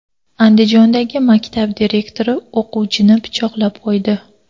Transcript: Andijondagi maktab direktori o‘qituvchini pichoqlab qo‘ydi .